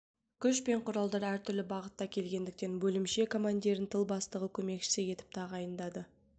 күш пен құралдар әртүрлі бағытта келгендіктен бөлімше командирін тыл бастығы көмекшісі етіп тағайындайды